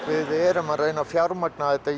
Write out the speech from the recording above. við erum að reyna að fjármagna þetta